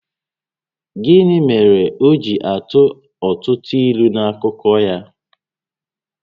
Gịnị mèrè o ji atụ ọtụtụ ílú n’akụkọ ya?